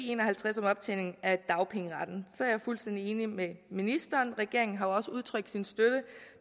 en og halvtreds om optjening af dagpengeretten er jeg fuldstændig enig med ministeren regeringen har jo også udtrykt sin støtte